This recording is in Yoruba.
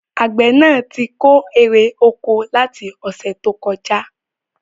Àgbẹ̀ náà tí kó èrè oko láti ọ̀sẹ̀ tó kọjá